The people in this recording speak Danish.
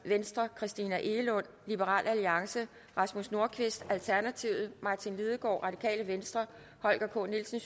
christina egelund rasmus nordqvist martin lidegaard holger k nielsen